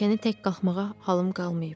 Pilləkəni tək qalxmağa halım qalmayıb.